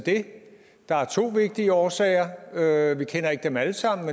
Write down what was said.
at der er to vigtige årsager til det vi kender ikke dem alle sammen